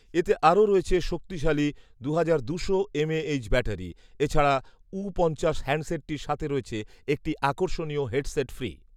এতে আরও রয়েছে শক্তিশালী দুহাজার দুশো এমএএইচ ব্যাটারি, এছাড়া ঊ পঞ্চাশ হ্যান্ডসেটটির সাথে রয়েছে একটি আকর্ষণীয় হেডসেট ফ্রি